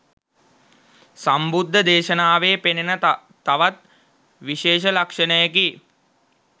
සම්බුද්ධ දේශනාවේ පෙනෙන තවත් විශේෂ ලක්ෂණයකි.